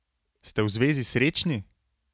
Ste v zvezi srečni?